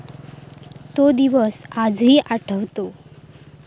तो दिवस आजही आठवतो.